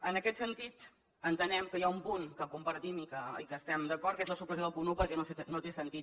en aquest sentit entenem que hi ha un punt que compartim i que hi estem d’acord que és la supressió del punt un perquè no té sentit